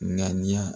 Ŋaniya